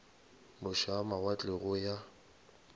moše a mawatle go yo